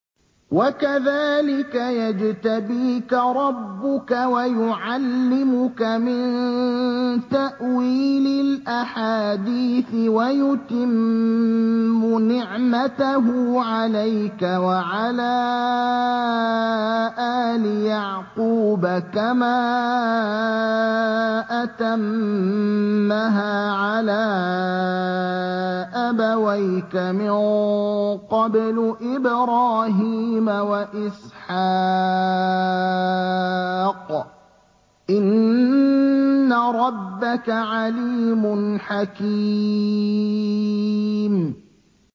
وَكَذَٰلِكَ يَجْتَبِيكَ رَبُّكَ وَيُعَلِّمُكَ مِن تَأْوِيلِ الْأَحَادِيثِ وَيُتِمُّ نِعْمَتَهُ عَلَيْكَ وَعَلَىٰ آلِ يَعْقُوبَ كَمَا أَتَمَّهَا عَلَىٰ أَبَوَيْكَ مِن قَبْلُ إِبْرَاهِيمَ وَإِسْحَاقَ ۚ إِنَّ رَبَّكَ عَلِيمٌ حَكِيمٌ